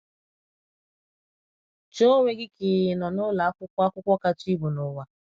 Chee onwe gị ka ị ị nọ n’ụlọ akwụkwọ akwụkwọ kacha ibu n’ụwa.